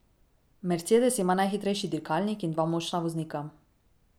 Mercedes ima najhitrejši dirkalnik in dva močna voznika.